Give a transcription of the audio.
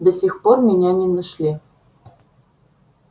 до сих пор меня не нашли